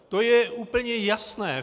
To je úplně jasné.